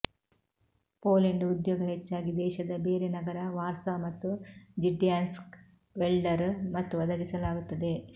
Poland ಉದ್ಯೋಗ ಹೆಚ್ಚಾಗಿ ದೇಶದ ಬೇರೆ ನಗರ ವಾರ್ಸಾ ಮತ್ತು ಜಿಡ್ಯಾನ್ಸ್ಕ್ ವೆಲ್ಡರ್ ಮತ್ತು ಒದಗಿಸಲಾಗುತ್ತದೆ